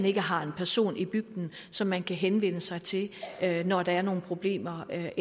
ikke har en person i bygden som man kan henvende sig til når der er nogle problemer af